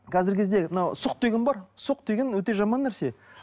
қазіргі кезде мынау сұқ деген бар сұқ деген өте жаман нәрсе